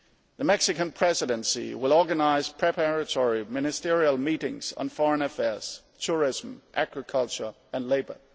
The Mexican Presidency will organise preparatory ministerial meetings on foreign affairs, tourism, agriculture and labour.